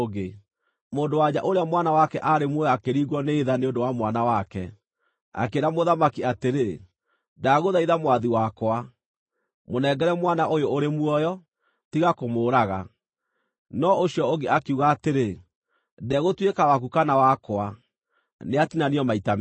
Mũndũ-wa-nja ũrĩa mwana wake aarĩ muoyo akĩringwo nĩ tha nĩ ũndũ wa mwana wake, akĩĩra mũthamaki atĩrĩ, “Ndagũthaitha mwathi wakwa, mũnengere mwana ũyũ ũrĩ muoyo, tiga kũmũũraga!” No ũcio ũngĩ akiuga atĩrĩ, “Ndegũtuĩka waku kana wakwa. Nĩatinanio maita meerĩ!”